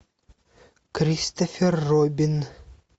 кристофер робин